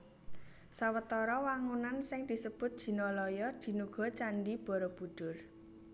Sawetara wangunan sing disebut Jinalaya dinuga Candhi Barabudhur